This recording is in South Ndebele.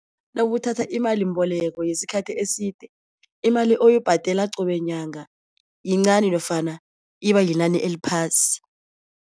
Nakuthatha imalimboleko yesikhathi eside, imali oyibhadela qobe nyanga yincani nofana ibayinani eliphasi.